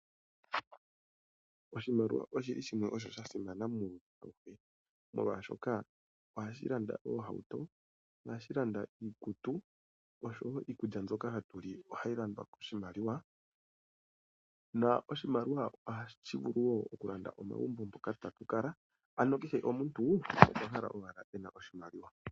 oshimliwa oshi li shimwe osho sha simana muuyuni auhe, molwashoka ohashi landa oohauto, ohashi landa iikutu oshowo iikulya mbyoka hatu li ohayi landwa koshimaliwa na oshimaliwa ohashi vulu wo okulanda omagumbo moka tatu kala, ano kehe omuntu okwa hala owala e na oshimaliwa.